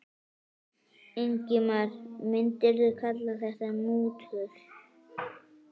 Ingimar: Myndirðu kalla þetta mútur?